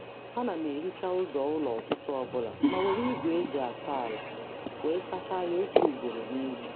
A na m ehicha ụzọ ụlọ ụtụtụ ọbụla ma were igwe eji asa ala wee sachaa ya otu ugboro n'izu.